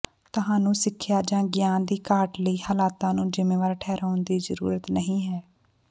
ਤੁਹਾਨੂੰ ਸਿੱਖਿਆ ਜਾਂ ਗਿਆਨ ਦੀ ਘਾਟ ਲਈ ਹਾਲਤਾਂ ਨੂੰ ਜ਼ਿੰਮੇਵਾਰ ਠਹਿਰਾਉਣ ਦੀ ਜ਼ਰੂਰਤ ਨਹੀਂ ਹੈ